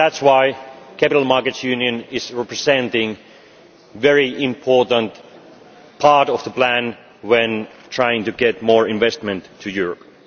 That is why the Capital Markets Union represents a very important part of the plan when we are trying to get more investment to Europe.